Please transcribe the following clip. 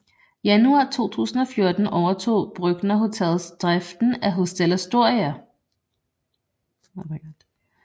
Januar 2014 overtog Brøchner Hotels driften af Hotel Astoria